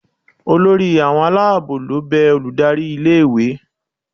olori awọn alabo lo be olùdarí ilé ìwé